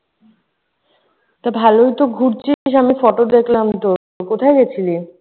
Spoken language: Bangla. তো ভালোইতো ঘুরছিস। আমি photo দেখলাম তোর। কোথায় গেছিলি?